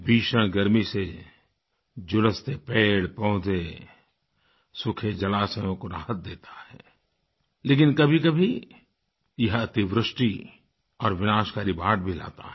भीषण गर्मी से झुलसते पेड़पौधे सूखे जलाशयोँ को राहत देता है लेकिन कभीकभी यह अतिवृष्टि और विनाशकारी बाढ़ भी लाता है